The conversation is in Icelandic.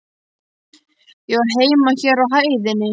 Ég á heima hér á hæðinni.